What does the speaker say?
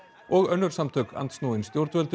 og önnur samtök andsnúin stjórnvöldum